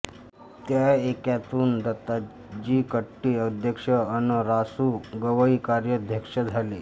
त्या ऐक्यातुन दत्ताजी कट्टी अध्यक्ष अन रा सु गवई कार्याध्यक्ष झाले